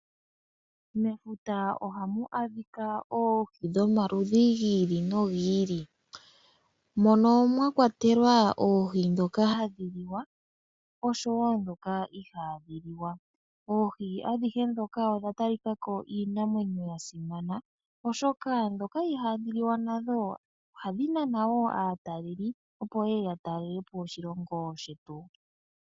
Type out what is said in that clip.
Mefuta ohamu adhika oohi dhomaludhi gili nogili . Mono mwakwatelwa oohi ndhoka hadhi liwa oshowoo ndhoka ihaadhi liwa. Oohi adhihe ndhoka odha talikako dhafa iinamwenyo yasimana ,ndhoka ihaadhi liwa nadho ohadhi nana wo aatalelipo opo yeye yatalelepo oshilongo shetu.